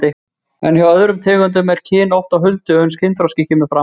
En hjá öðrum tegundum er kyn oft á huldu uns kynþroski kemur fram.